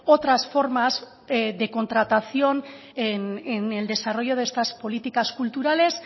otras formas de contratación en el desarrollo de estas políticas culturales